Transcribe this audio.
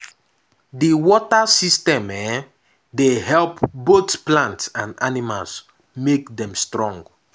the water system um dey help both plants and animals make dem strong